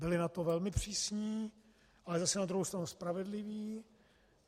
Byli na to velmi přísní, ale zase na druhou stranu spravedliví.